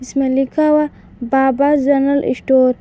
इसमें लिखा हुआ बाबा जनरल स्टोर ।